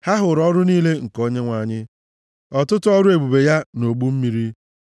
Ha hụrụ ọrụ niile nke Onyenwe anyị, ọtụtụ ọrụ ebube ya nʼogbu mmiri.